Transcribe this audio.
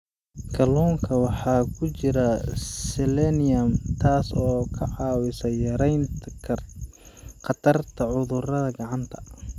Kalluunka waxaa ku jira selenium, taas oo ka caawisa yaraynta khatarta cudurada gacanta.